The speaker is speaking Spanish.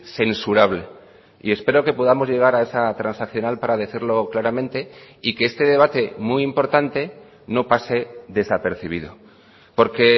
censurable y espero que podamos llegar a esa transaccional para decirlo claramente y que este debate muy importante no pase desapercibido porque